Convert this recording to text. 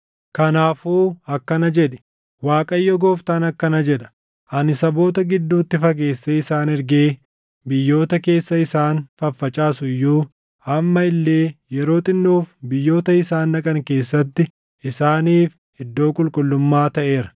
“Kanaafuu akkana jedhi: ‘ Waaqayyo Gooftaan akkana jedha: Ani saboota gidduutti fageessee isaan ergee biyyoota keessa isaan faffacaasu iyyuu, amma illee yeroo xinnoof biyyoota isaan dhaqan keessatti isaaniif iddoo qulqullummaa taʼeera.’